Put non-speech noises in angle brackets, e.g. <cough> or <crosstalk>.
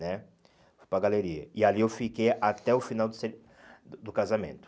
né Fui para a galeria e ali eu fiquei até o final do <unintelligible> do do casamento.